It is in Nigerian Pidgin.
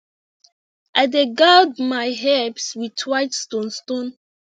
i dey guard my herbs with white stone stone